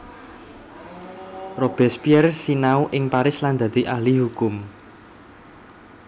Robespierre sinau ing Paris lan dadi ahli hukum